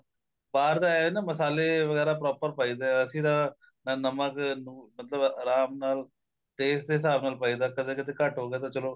ਬਾਹਰ ਦਾ ਏ ਆ ਨਾ ਮਸਾਲੇ ਵਗੈਰਾ proper ਪਾਈ ਦਾ ਅਸੀਂ ਤਾਂ ਨਾ ਨਮਕ ਲੂਣ ਮਤਲਬ ਆਰਾਮ ਨਾਲ taste ਦੇ ਹਿਸਾਬ ਨਾਲ ਪਾਈ ਦਾ ਕਦੇ ਕਦੇ ਘੱਟ ਹੋ ਗਿਆ ਤਾਂ ਚਲੋ